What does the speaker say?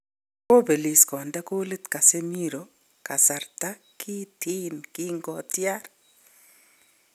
kobelis kokonde kolit Casemiro kasarta kiten konkotyar